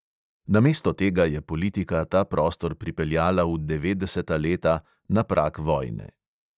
Namesto tega je politika ta prostor pripeljala v devetdeseta leta, na prag vojne.